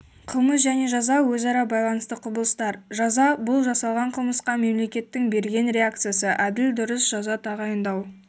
қылмыс және жаза өзара байланысты құбылыстар жаза-бұл жасалған қылмысқа мемлекеттің берген реакциясы әділ дұрыс жаза тағайындау